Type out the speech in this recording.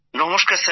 নমস্কার স্যার